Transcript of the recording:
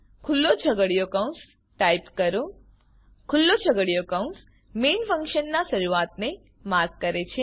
ખુલ્લો છગડીયો કૌંસ ટાઈપ કરો ખુલ્લો છગડીયો કૌંસ મેઇન ફંક્શનનાં શરૂઆતને માર્ક કરે છે